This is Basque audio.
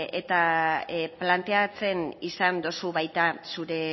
eta planteatzen izan duzu baita zure